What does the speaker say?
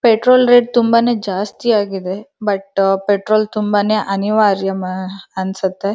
Petrol rate ತುಂಬಾನೇ ಜಾಸ್ತಿ ಆಗಿದೆ ಬಟ್ ಪೆಟ್ರೋಲ್ ತುಂಬ ಅನಿವಾರ್ಯಮ್ ಎ ಅನ್ಸುತ್ತೆ.